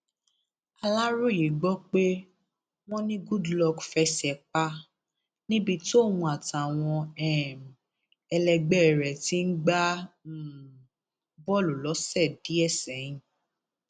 aláròye gbọ pé wọn ní goodluck fẹsẹ pa níbi tóun àtàwọn um ẹlẹgbẹ rẹ ti ń gbá um bọọlù lọsẹ díẹ sẹyìn